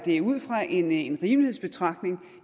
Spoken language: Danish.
er ud fra en rimelighedsbetragtning